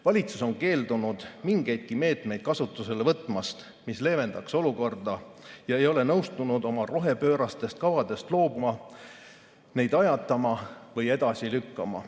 Valitsus on keeldunud kasutusele võtmast mingeidki meetmeid, mis leevendaks olukorda, ja ei ole nõustunud oma rohepöörastest kavadest loobuma, neid ajatama või edasi lükkama.